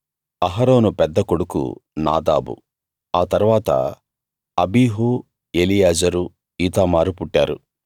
అహరోను పెద్ద కొడుకు నాదాబు ఆ తరువాత అబీహు ఎలియాజరు ఈతామారు పుట్టారు